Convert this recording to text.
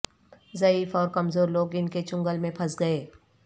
ضعیف اور کمزور لوگ ان کے چنگل میں پھنس گئے